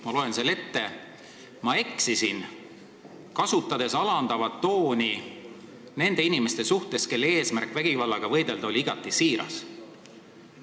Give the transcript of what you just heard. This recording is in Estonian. Ma loen selle ette: "Ma eksisin, kasutades halastuse teemast kõneledes alandavat tooni hulga heausksete inimeste suhtes, kelle eesmärk vägivallaga võidelda oli igati siiras.